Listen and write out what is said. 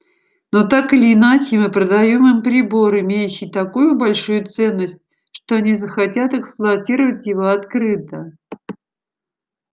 но так или иначе мы продаём им прибор имеющий такую большую ценность что они захотят эксплуатировать его открыто